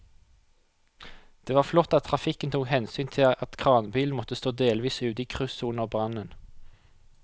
Det var flott at trafikken tok hensyn til at kranbilen måtte stå delvis ute i krysset under brannen.